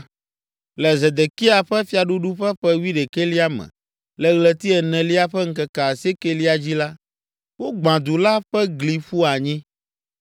Le Zedekia ƒe fiaɖuɖu ƒe ƒe wuiɖekɛlia me, le ɣleti enelia ƒe ŋkeke asiekɛlia dzi la, wogbã du la ƒe gli ƒu anyi.